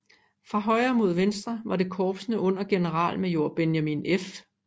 Fra højre mod venstre var det korpsene under generalmajor Benjamin F